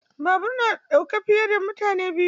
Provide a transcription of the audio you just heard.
Babur na ɗaukar fiye da mutane biyu.